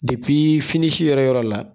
fini si yɔrɔ yɔrɔ la